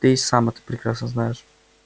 ты и сам это прекрасно знаешь